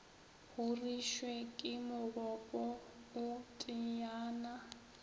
horišwe ke mogopo o teyana